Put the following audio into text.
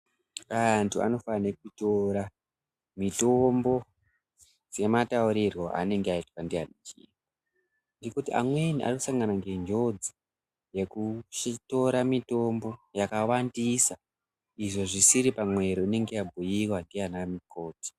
Antu anofanhe kutora mitombo semataurirwo aanenge aitwa ndiana chiremba, ngekuti amweni anosangana ngenjodzi ngekutora mitombo yakawandisa izvo zvisiri pamwero inenge yabhuiwa ndiana mukoti.